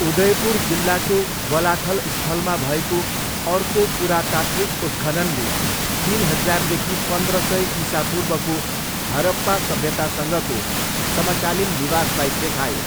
उदयपुर जिल्लाको बलाथल स्थलमा भएको अर्को पुरातात्विक उत्खननले तिन हजारदेखि पन्द्र सय इसापूर्वको हरप्पा सभ्यतासँगको समकालीन निवासलाई देखायो।